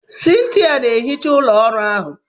Cynthia na-ehicha ụlọ ọrụ ahụ.